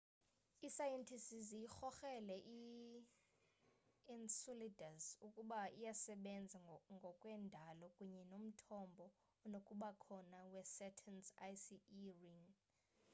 iisayentisti ziyikrokrele i-enceladus ukuba iyasebena ngokwe ndalo kunye nomthombo onokubakhona wesaturn's icy e ring